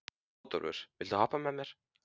Bótólfur, viltu hoppa með mér?